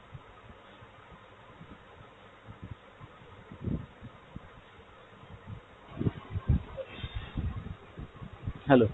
hello।